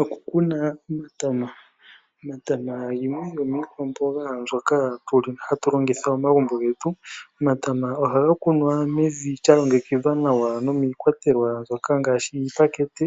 Oku kuna omatama, omatama iimeno ndyono iikwamboga hatu longitha momagumbo getu. Omatama ohaga kunwa mevi lyalongekidhwa nawa nomiikwatelwa ngaashi iipakete